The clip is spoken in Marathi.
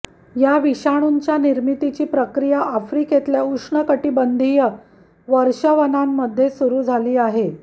या विषाणूंच्या निर्मितीची प्रक्रिया आफ्रिकेतल्या उष्णकटिबंधीय वर्षावनांमध्ये सुरू झाली आहे